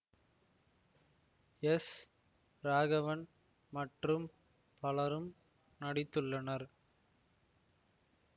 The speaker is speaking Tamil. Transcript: எஸ் ராகவன் மற்றும் பலரும் நடித்துள்ளனர்